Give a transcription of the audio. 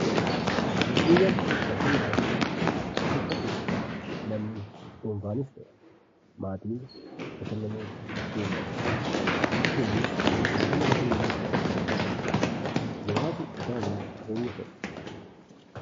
Giddu galli bashannanaa bakka itti namni dhuunfaanis ta'e maatiin bashannanuuf deemudha. Biyyi keenyis giddugala bashannanaa hedduu qabdi. Muraasi isaaniis eenyu fa'i?